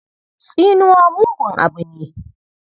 Tsinuwa mugun abu ne.